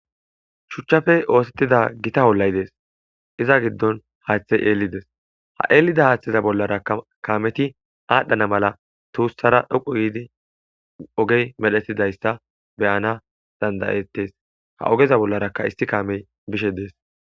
shuchchafe oosettida gita hollay dees iza giddon haaththey eelides ha eelida haaththeza bollara kaameti aadhdhana mala tuussara dhoqu yiidi ogey medhetidayssa beyana dandayettes ha ogeza bollaraka isti kaamey bishe dees